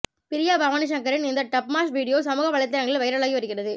பிரியா பவானிசங்கரின் இந்த Dubsmash video சமூக வலைத்தளங்களில் வைரலாகி வருகிறது